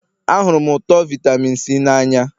Ahụrụ m ụtọ vitamin C n'anya